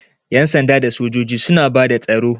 Ƴan sanda da sojoji suna bada tsaro.